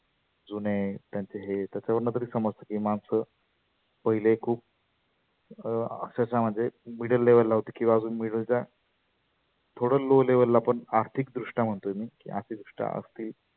जुने त्यांचे हे त्याच्यावरुन तर समजत की माणसं पहिले खुप अं अक्षरषः म्हणजे middle level ला होते किंवा आता middle च्या थोड low level पण आर्थीक दृष्ट्याट्या म्हणतो मी. आर्थीक दृष्ट्या आगदी